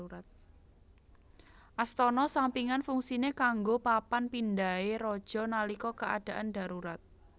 Astana sampingan fungsine kanggo papan pindhahe raja nalika keadaan darurat